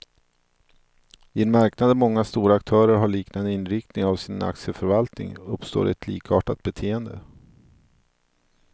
I en marknad där många stora aktörer har liknande inriktning av sin aktieförvaltning, uppstår ett likartat beteende.